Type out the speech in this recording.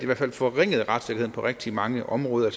hvert fald forringede retssikkerheden på rigtig mange områder